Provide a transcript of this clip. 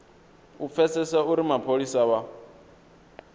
u pfesesa uri mapholisa vha